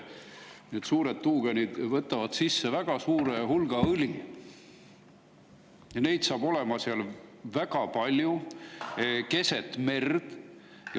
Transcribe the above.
Need suured tuugenid võtavad sisse väga suure hulga õli ja neid saab olema seal väga palju keset merd.